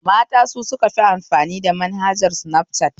Mata su sukafi amfani da manhajar sinafcat